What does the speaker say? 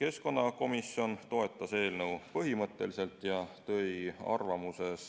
Keskkonnakomisjon põhimõtteliselt toetas eelnõu, kuid tõi arvamuses